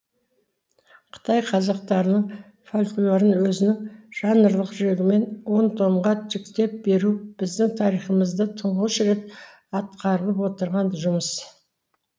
қытай қазақтарының фольклорын өзінің жанрлық жігімен он томға жіктеп беру біздің тарихымызда тұңғыш рет атқарылып отырған жұмыс